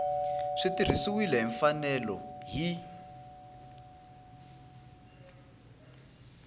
swi tirhisiwile hi mfanelo hi